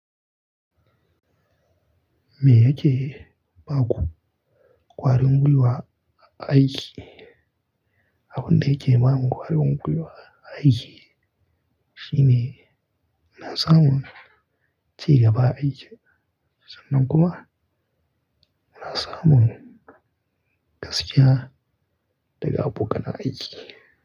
Me yake ba ku kwarin guwa a aiki? Abun da yake ba mu kwarin guwa a aiki shine munasa mun cigaba aiki sannan kuma munasa mun gaskiya daga abokan aiki.